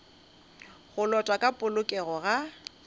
go lotwa ka polokego ga